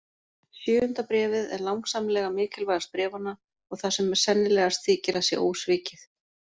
Sjöunda bréfið er langsamlega mikilvægast bréfanna og það sem sennilegast þykir að sé ósvikið.